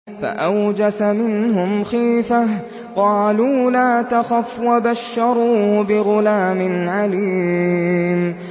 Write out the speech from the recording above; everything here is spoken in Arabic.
فَأَوْجَسَ مِنْهُمْ خِيفَةً ۖ قَالُوا لَا تَخَفْ ۖ وَبَشَّرُوهُ بِغُلَامٍ عَلِيمٍ